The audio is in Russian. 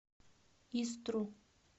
истру